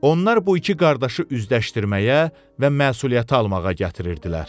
Onlar bu iki qardaşı üzdəşdirməyə və məsuliyyəti almağa gətirirdilər.